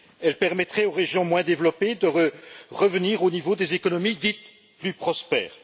Elles permettraient aux régions moins développées de revenir au niveau des économies dites plus prospères.